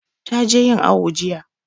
Ta je yin awu jiya